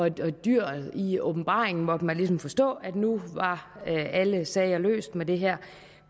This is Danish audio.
et dyr i åbenbaringen måtte man ligesom forstå nu var alle sager løst med det her